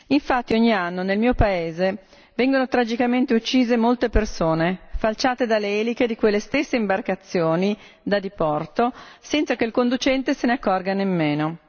Infatti, ogni anno, nel mio paese vengono tragicamente uccise molte persone, falciate dalle eliche di quelle stesse imbarcazioni da diporto senza che il conducente se ne accorga nemmeno.